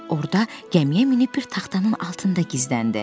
Orada gəmiyə minib bir taxtanın altında gizləndi.